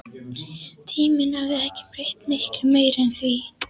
Tíminn hafði ekki breytt miklu meiru en því.